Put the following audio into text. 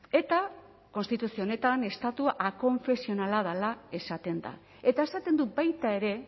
eta konstituzio honetan estatu akonfesionala dela esaten da eta esaten du baita ere